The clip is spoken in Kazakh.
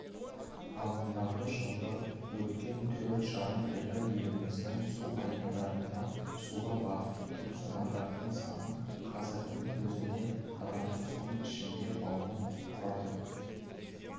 ағымдағы жылғы өткен төрт жарым айда еліміздің су айдындарында суға батып кеткен адамдардың саны қазірдің өзінде адамды соның ішінде баланы құрады